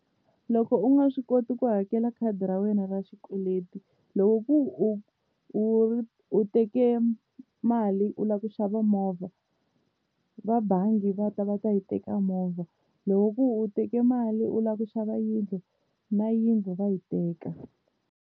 Loko u nga swi koti ku hakela khadi ra wena ra xikweleti loko ku u u u teke mali u lava ku xava movha va bangi va ta va ta yi teka movha loko ku u teke mali u lava ku xava yindlu na yindlu va yi teka.